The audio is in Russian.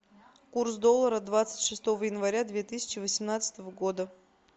курс доллара двадцать шестого января две тысячи восемнадцатого года